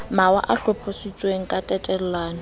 mawa a hlophisitsweng ka tatellano